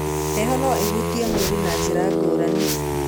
Heho no ĩhutie mwĩrĩ na njĩra ngúrani.